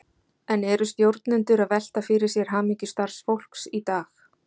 En eru stjórnendur að velta fyrir sér hamingju starfsfólks í dag?